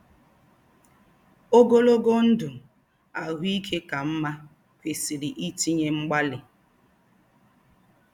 Ogologo ndụ ahụike ka mma kwesịrị itinye mgbalị. ”